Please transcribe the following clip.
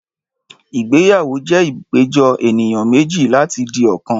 Ìgbéyàwó jẹ́ ìpéjọ ènìyàn méjì láti di ọ̀kan